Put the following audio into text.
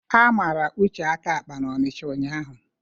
A mara Uche aka akpa n'Onicha ụnyaahụ